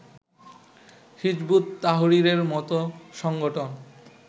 হিযবুত তাহরীরের মতো সংগঠন